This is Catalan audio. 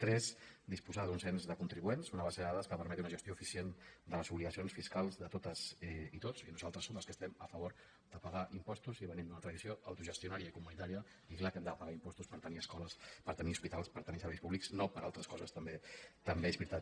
tres disposar d’un cens de contribuents una base de dades que permeti una gestió eficient de les obligacions fiscals de totes i tots i nosaltres som dels que estem a favor de pagar impostos i venim d’una tradició autogestionària i comunitària i clar que hem de pagar impostos per tenir escoles per tenir hospitals per tenir serveis públics no per a altres coses també és veritat